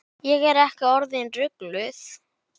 Starfi kennara fylgir mikil ábyrgð.